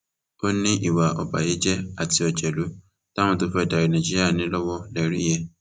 ó ní ìwà ọbàyéjẹ àti òjèlú táwọn tó fẹẹ darí nàìjíríà ní lọwọ lè rí yẹn